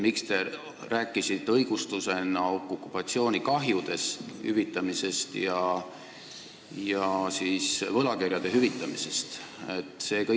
Miks te rääkisite õigustusena okupatsioonikahjude ja võlakirjade hüvitamisest?